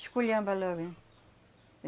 Esculhamba logo, hein?